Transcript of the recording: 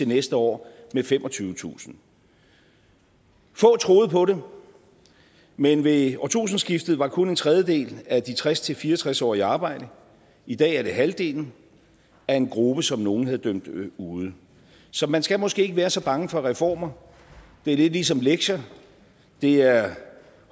næste år med femogtyvetusind få troede på det men ved årtusindskiftet var kun en tredjedel af de tres til fire og tres årige i arbejde i dag er det halvdelen af en gruppe som nogen havde dømt ude så man skal måske ikke være så bange for reformer det er lidt ligesom lektier det er